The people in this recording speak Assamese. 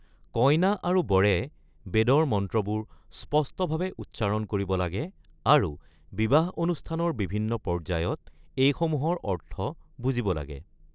কইনা আৰু বৰে বেদৰ মন্ত্ৰবোৰ স্পষ্টভাৱে উচ্চাৰণ কৰিব লাগে আৰু বিবাহ অনুষ্ঠানৰ বিভিন্ন পৰ্যায়ত এইসমূহৰ অৰ্থ বুজিব লাগে।